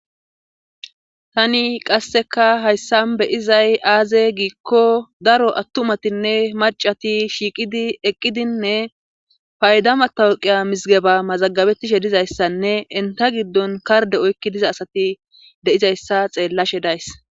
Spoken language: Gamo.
tani qasseka hayssan beyizay aaze giikko daro attumatinne macati shiiqidi eqqidinne paydamatawqiya misigeba mazagabettishe dizayssanne inta giddon karde oykki diza asati de7izayssa xeellashe days